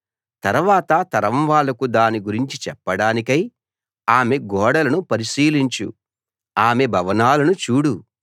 తర్వాత తరం వాళ్ళకు దాని గురించి చెప్పడానికై ఆమె గోడలను పరిశీలించు ఆమె భవనాలను చూడు